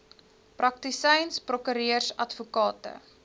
praktisyns prokureurs advokate